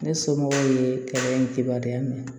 Ne somɔgɔw ye kɛlɛ in kibaruya minɛ